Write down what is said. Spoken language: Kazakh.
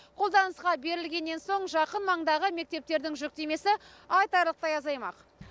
қолданысқа берілгеннен соң жақын маңдағы мектептердің жүктемесі айтарлықтай азаймақ